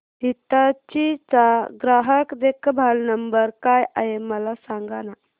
हिताची चा ग्राहक देखभाल नंबर काय आहे मला सांगाना